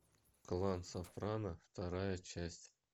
клан сопрано вторая часть